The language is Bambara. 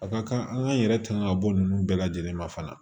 A ka kan an k'an yɛrɛ tanga ka bɔ nunnu bɛɛ lajɛlen ma fana